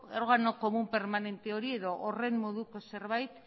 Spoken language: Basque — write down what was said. órgano común permanente hori edo horren moduko zerbait